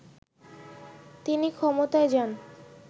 তিনি ক্ষমতায় যান